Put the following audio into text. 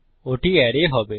ওটি অ্যারে হবে